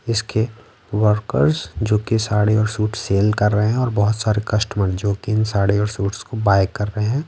इसके वर्कर्स जो कि साड़ी और सूट सेल कर रहे हैं और बहुत सारे कस्टमर जो कि इन साड़ी और सूट्स को बाय कर रहे हैं।